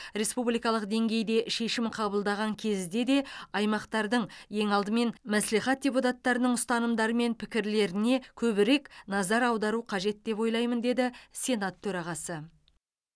республикалық деңгейде шешім қабылдаған кезде де аймақтардың ең алдымен мәслихат депутаттарының ұстанымдары мен пікірлеріне көбірек назар аудару қажет деп ойлаймын деді сенат төрағасы